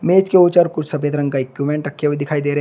मेज के उचर कुछ सफेद रंग का एक्यूमेंट रखे हुए दिखाई दे रहे--